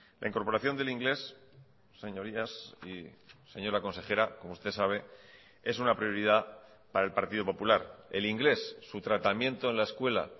la incorporación del inglés señorías y señora consejera como usted sabe es una prioridad para el partido popular el inglés su tratamiento en la escuela